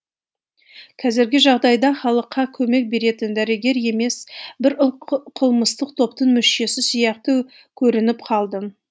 қазіргі жағдайда халыққа көмек беретін дәрігер емес бір қылмыстық топтың мүшесі сияқты көрініп қалдым